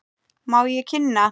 Má ég kynna.